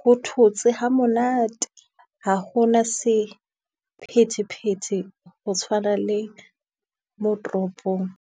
ho thotse ha monate ha ho na sephetephete ho tshwana le mo toropong.